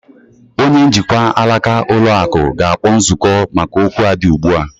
Onye njikwa alaka ụlọ akụ ga-akpọ nzukọ maka okwu a dị ugbu a.